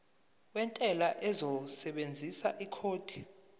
wentela uzosebenzisa ikhodi